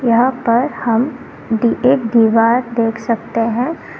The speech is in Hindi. यहां पर हम एक दीवार देख सकते हैं।